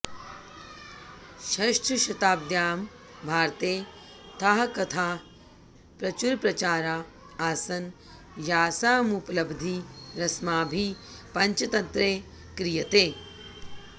षष्ठशताब्द्याम् भारते ताः कथाः प्रचुरप्रचारा आसन् यासामुपलब्धिरस्माभिः पञ्चतन्त्रे क्रियते